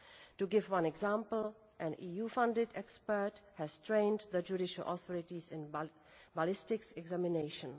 To give one example, an EU funded expert has trained the judicial authorities in ballistics examination.